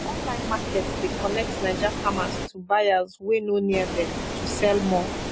online markets dey connect naija farmers to buyers wey no near dem to sell more